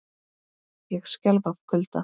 Ég skelf af kulda.